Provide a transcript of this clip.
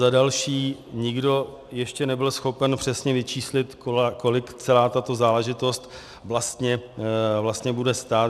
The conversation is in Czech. Za další, nikdo ještě nebyl schopen přesně vyčíslit, kolik celá tato záležitost vlastně bude stát.